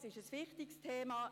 Es ist ein wichtiges Thema.